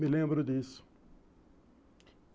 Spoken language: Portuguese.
Me lembro disso.